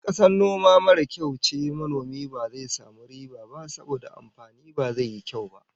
In kasar noma mara kyau ce, manomin ba zai samu riba ba saboda amfani ba zai yi kyau ba